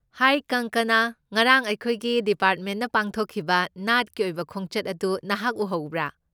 ꯍꯥꯏ ꯀꯪꯀꯅꯥ! ꯉꯔꯥꯡ ꯑꯩꯈꯣꯏꯒꯤ ꯗꯤꯄꯥꯔꯃꯦꯟꯠꯅ ꯄꯥꯡꯊꯣꯛꯈꯤꯕ ꯅꯥꯠꯀꯤ ꯑꯣꯏꯕ ꯈꯣꯡꯆꯠ ꯑꯗꯨ ꯅꯍꯥꯛꯅ ꯎꯍꯧꯕ꯭ꯔꯥ?